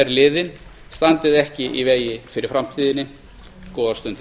liðinn standið ekki í vegi fyrir framtíðinni góðar stundir